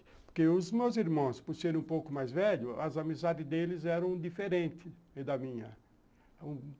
Porque os meus irmãos, por serem um pouco mais velhos, as amizades deles eram diferentes da minha.